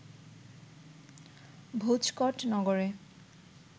ভোজকট নগরে